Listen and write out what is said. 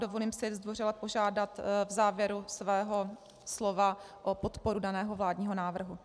Dovolím si zdvořile požádat v závěru svého slova o podporu daného vládního návrhu.